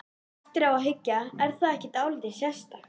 Eftir á að hyggja, er það ekki dálítið sérstakt?